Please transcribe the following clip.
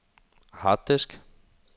harddisk